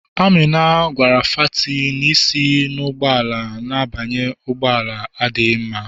Amina gwara fati na isi n'ụgbọala na-abanye ụgbọ ala adịghị mma.